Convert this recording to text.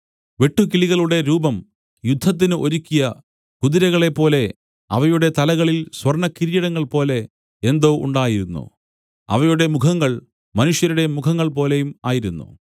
വെട്ടുക്കിളികളുടെ രൂപം യുദ്ധത്തിന് ഒരുക്കിയ കുതിരകളെപ്പോലെ അവയുടെ തലകളിൽ സ്വർണ്ണകിരീടങ്ങൾ പോലെ എന്തോ ഉണ്ടായിരുന്നു അവയുടെ മുഖങ്ങൾ മനുഷ്യരുടെ മുഖങ്ങൾ പോലെയും ആയിരുന്നു